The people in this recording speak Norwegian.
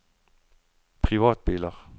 privatbiler